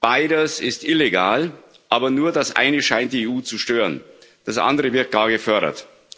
Beides ist illegal, aber nur das eine scheint die EU zu stören, das andere wird da gefördert.